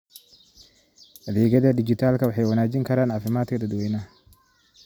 Adeegyada dijitaalka ah waxay wanaajin karaan caafimaadka dadweynaha.